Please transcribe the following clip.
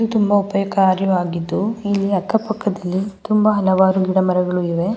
ತುಂಬ ಉಪಯೋಗಕಾರಿಯಾಗಿದ್ದು ಇಲ್ಲಿ ಅಕ್ಕ ಪಕ್ಕದಲ್ಲಿ ತುಂಬ ಹಲವಾರು ಗಿಡ ಮರಗಳು ಇವೆ.